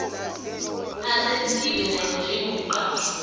asenziwe naye njengomqashwa